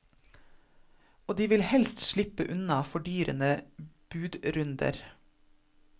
Og de vil helst slippe unna fordyrende budrunder.